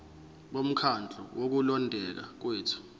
bomkhandlu wokulondeka kwethu